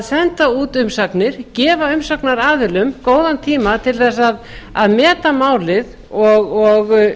senda út umsagnir gefa umsagnaraðilum góðan tíma til þess að meta málið og